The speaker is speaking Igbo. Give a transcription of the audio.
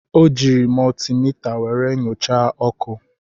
O jiiri mọltimita were nyochaa ọkụ.